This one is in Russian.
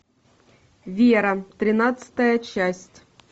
вера тринадцатая часть